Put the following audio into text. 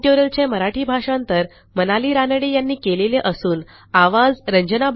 ह्या ट्युटोरियलचे मराठी भाषांतर मनाली रानडे यांनी केलेले असून आवाज